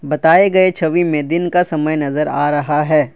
बताए गए छवि में दिन का समय नजर आ रहा है।